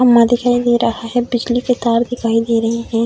खम्भा दिखाई दे रहा है। बिजली के तार दिखाई दे रहें हैं।